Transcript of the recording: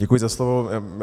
Děkuji za slovo.